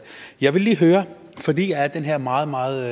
jeg vil lige høre fordi jeg er den her meget meget